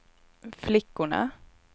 flickorna